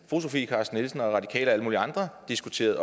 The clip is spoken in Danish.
sofie carsten nielsen og radikale og alle mulige andre diskuteret